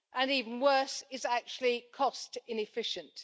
Even worse, it is actually cost inefficient.